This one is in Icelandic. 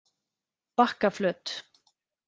Bakkaflöt